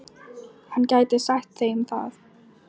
Hann gæti sagt þeim það.